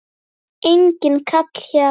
Enginn kall hjá